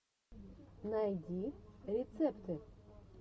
найди рецепты